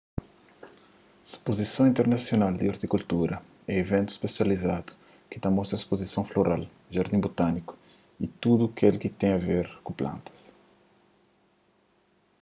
spozison internasional di ortikultura é iventus spesializadu ki ta mostra spozisons floral jardins botániku y tudu kel ki ten a ver ku plantas